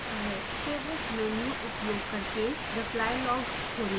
favorites menu उपयोग करके reply log खोलें